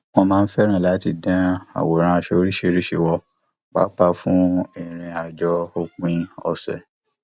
wọn máa ń fẹràn láti dán àwòrán aṣọ oríṣiríṣi wò pàápàá fún ìrìn àjò òpin ọsẹ